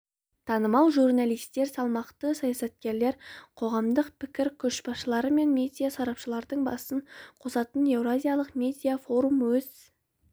танымал журналистер салмақты саясаткерлер қоғамдық пікір көшбасшылары мен медиа сарапшылардың басын қосатын еуразиялық медиа форум өз